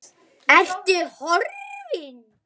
Ertu horfin?